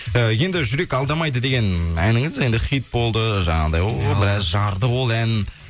ы енді жүрек алдамайды деген әніңіз енді хит болды жаңағындай ой біраз жарды ол ән